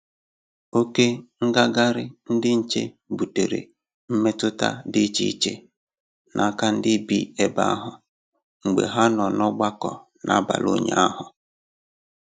Oke ngagharị ndị nche butere mmetụta dị iche iche n'aka ndị bi ebe ahụ mgbe ha nọ n'ọgbakọ n'abalị ụnyaahụ